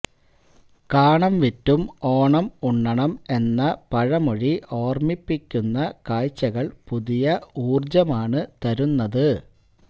കാണം വിറ്റും ഓണം ഉണ്ണണം എന്ന പഴമൊഴി ഓർമിപ്പിക്കുന്ന കാഴ്ചകൾ പുതിയ ഊർജമാണ് തരുന്നത്